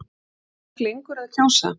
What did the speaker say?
Er fólk lengur að kjósa?